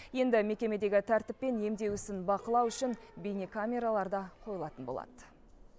енді мекемедегі тәртіп пен емдеу ісін бақылау үшін бейнекамералар да қойылатын болады